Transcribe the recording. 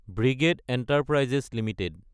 brigade Enterprises Ltd